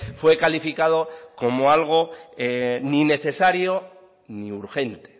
fue calificado como algo ni necesario ni urgente